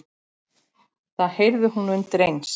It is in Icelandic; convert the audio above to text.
Það heyrði hún undir eins.